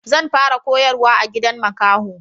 Zan fara koyarwa a gidan makaho